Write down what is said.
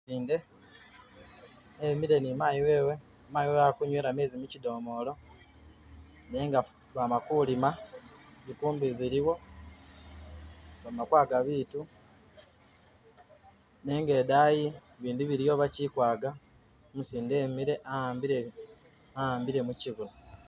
Umusinde, emile ni mayi wewe. Mayi wewe ali ku nyweela mezi mukidomolo nenga bama kulima, zikumbi ziliwo bama kwaga bitu nga idaayi bindi biliwo bakili kwaga, Umusinde emile a'ambile a'ambile mukibuno.